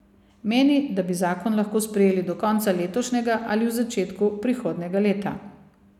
Meni, da bi zakon lahko sprejeli do konca letošnjega ali v začetku prihodnjega leta.